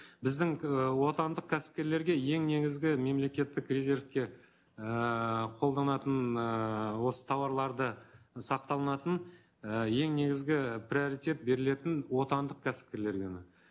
біздің і отандық кәсіпкерлерге ең негізгі мемлекеттік резервке ііі қолданатын ыыы осы тауарларды сақталынатын і ең негізгі приоритет берілетін отандық кәсіпкерлерге ғана